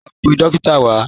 lọ pe dókítà wá!